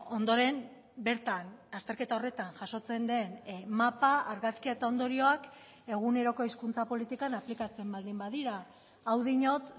ondoren bertan azterketa horretan jasotzen den mapa argazkia eta ondorioak eguneroko hizkuntza politikan aplikatzen baldin badira hau diot